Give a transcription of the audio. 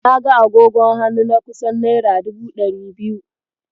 Na ga agogon hannu na kusan naira dubu ɗari biyu.